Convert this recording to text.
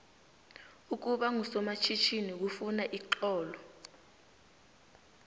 ukuba ngusomatjhinini kufuna ixhono